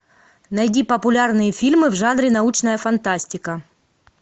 найди популярные фильмы в жанре научная фантастика